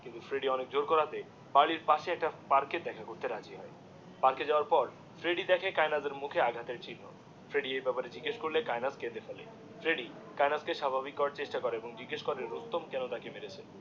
কিন্তু ফ্রেডি অনেক জোর করাতে পার্লের পাশে একটাপার্কে দেখা করতে রাজি হয়ে, পার্কে যাওয়ার পর ফ্রেডি দেখে কায়েনাথের মুখে আঘাত এর চিহ্ন, ফ্রেডি এই ব্যাপারে জিজ্ঞেস করলে, কায়েনাথ কেঁদে ফেলে ফ্রেডি কায়নাথ কে স্বাভাবিক করার চেষ্টা করে এবং জিজ্ঞেস করে রুস্তম কেন তাকে মেরেছে